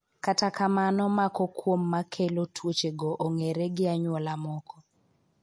Kata kamano mako kuom makelo tuoche go ong'ere gi anyuola moko.